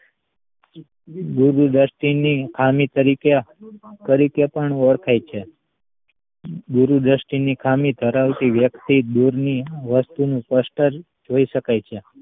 આને ગુરુદ્રષ્ટિ ની ખામી તરીકે તરીકે પણ ઓળખાય છે ગુરુ દ્રષ્ટિ ની ખામી ધરાવતી વ્યક્તિ દૂરની વસ્તુ નું સ્પષ્ટ જ જોઈ શકે છે